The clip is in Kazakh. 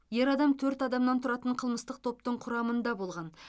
ер адам төрт адамнан тұратын қылмыстық топтың құрамында болған